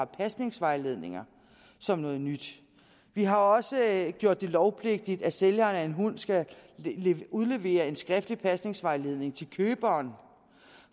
pasningsvejledninger som noget nyt vi har også gjort det lovpligtigt at sælgeren af en hund skal udlevere en skriftlig pasningsvejledning til køberen